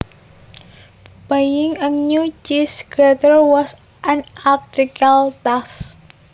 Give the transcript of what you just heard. Buying a new cheese grater was an acritical task